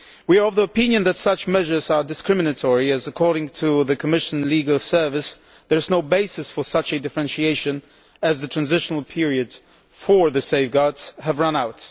We are of the opinion that such measures are discriminatory since, according to the Commission's Legal Service, there is no basis for such a differentiation as the transitional period for the safeguards has run out.